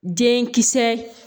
Den kisɛ